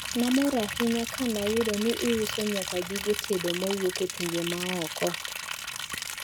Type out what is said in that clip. Namor ahinya kanayudo ni iuso nyaka gige tedo mowuok e pinje maoko.